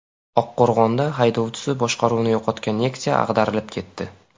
Oqqo‘rg‘onda haydovchisi boshqaruvni yo‘qotgan Nexia ag‘darilib ketdi.